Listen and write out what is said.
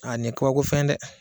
A ni ye kabako fɛn ye dɛ.